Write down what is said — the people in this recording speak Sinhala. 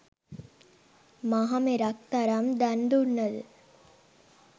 මහමෙරක් තරම් දන් දුන්නද